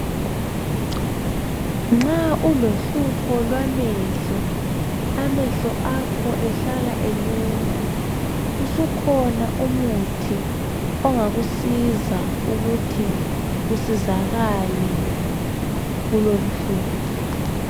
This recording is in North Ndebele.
Nxa ulohlupho lwamehlo amehlo akho ehlala eluma . Usukhona umuthi onga kusiza ukuthi usizakale kulolu hlupho